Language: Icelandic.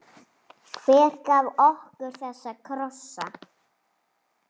Hver gaf okkur þessa krossa?